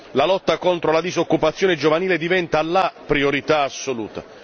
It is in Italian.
La lotta contro la disoccupazione giovanile diventa la priorità assoluta.